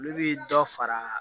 Olu bi dɔ fara